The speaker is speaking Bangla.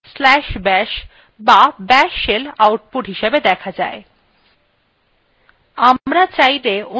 সাধারণতঃ/bin/bash বা bash shell output হিসাবে দেখা যায়